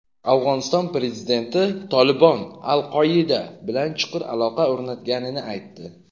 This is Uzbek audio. Afg‘oniston prezidenti "Tolibon" "Al-Qoida" bilan chuqur aloqa o‘rnatganini aytdi.